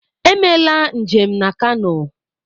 Emela njem na Kano!